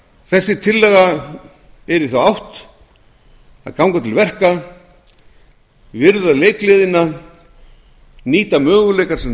þessi tillaga er í þá átt á ganga til verka virða leikgleðina nýta möguleika sem við